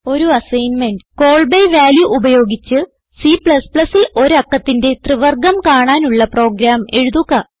ഒരു assignment call by value ഉപയോഗിച്ച് C ൽ ഒരു അക്കത്തിന്റെ ത്രിവർഗം കാണാനുള്ള പ്രോഗ്രാം എഴുതുക